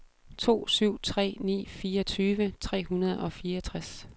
to syv tre ni fireogtyve tre hundrede og fireogtres